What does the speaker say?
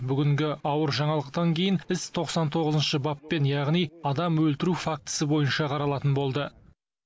бүгінгі ауыр жаңалықтан кейін іс тоқсан тоғызыншы баппен яғни адам өлтіру фактісі бойынша қаралатын болды